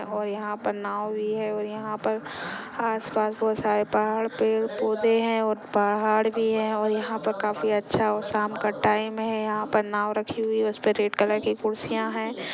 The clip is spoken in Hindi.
और यहा पर नाव भी है और यहा पर आसपास बहुत सारे पहाड़ पेड़ पौधे है और पहाड़ भी है और यहा पर काफी अच्छा और शाम का टाइम है यहा पर नाव रखी हुई है उसपे रेड कलर की कुर्सियां है।